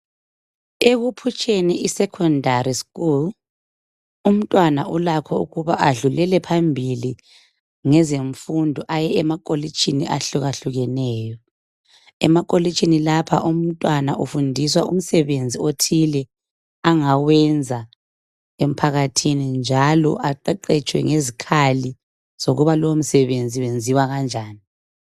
Ekuphutsheni imfundo yesekhondari umntwana ulakho ukudlulela phambili ngezemfundo ayemakolitshini ahlukahlukeneyo. Emakolitshini lapha umntwana ufundiswa umsebenzi othile angawenza emphakathini njalo aqeqetshiswe ngezikhali zokuba lowomsebenzi wenziwa kanjani.